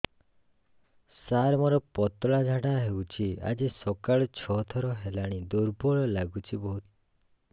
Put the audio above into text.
ସାର ମୋର ପତଳା ଝାଡା ହେଉଛି ଆଜି ସକାଳୁ ଛଅ ଥର ହେଲାଣି ଦୁର୍ବଳ ଲାଗୁଚି ବହୁତ